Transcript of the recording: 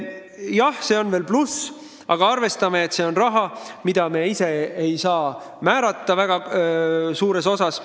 Jah, see on veel pluss, aga arvestame, et see on raha, mille kasutamist me ise kuigi suures osas määrata ei saa.